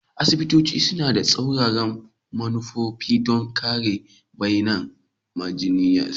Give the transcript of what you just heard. Asibitoci suna da tsauraran manufa don kare bayAnan majiyyaci